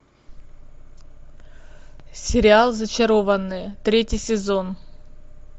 сериал зачарованные третий сезон